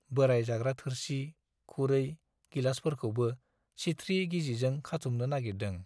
बोराइ जाग्रा थोरसि, खुरै, गिलासफोरखौबो सिथ्रि गिजिजों खाथुमनो नाइगिरदों।